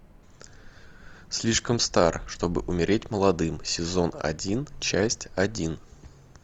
слишком стар чтобы умереть молодым сезон один часть один